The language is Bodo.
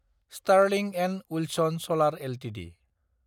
Sterling & Wilson solar Ltd